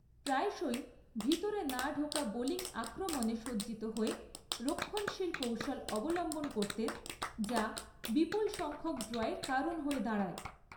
প্রায়শই ভিতরে না ঢোকা বোলিং আক্রমণে সজ্জিত হয়ে রক্ষণশীল কৌশল অবলম্বন করতেন যা বিপুল সংখ্যক ড্রয়ের কারণ হয়ে দাঁড়ায়।